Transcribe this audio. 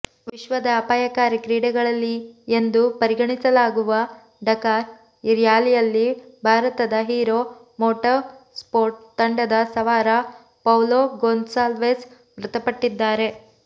ವಿಶ್ವದ ಅಪಾಯಕಾರಿ ಕ್ರೀಡೆಗಳಲ್ಲಿ ಎಂದು ಪರಿಗಣಿಸಲಾಗುವ ಡಕಾರ್ ರ್ಯಾಲಿಯಲ್ಲಿ ಭಾರತದ ಹೀರೊ ಮೋಟೊಸ್ಪೋರ್ಟ್ ತಂಡದ ಸವಾರ ಪೌಲೊ ಗೊನ್ಸಾಲ್ವೆಸ್ ಮೃತಪಟ್ಟಿದ್ದಾರೆ